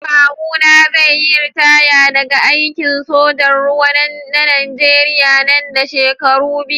Kawuna zai yi ritaya daga aikin sojan ruwa na najeriya nan da shekaru biyu.